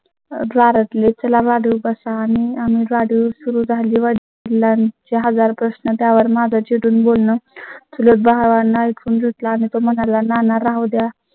. चला मध्ये बसा आणि आम्ही गाडी सुरू झाली व त्यांचे यक हजार प्रश्न त्यावर माझा चिडून बोन बोलणं चुलत भावना ऐकून घेतला आणि तो म्हणाला, नाना राहू द्या